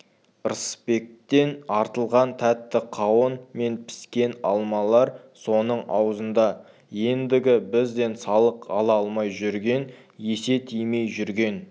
ырысбектен артылған тәтті қауын мен піскен алмалар соның аузында ендігі бізден салық ала алмай жүрген есе тимей жүрген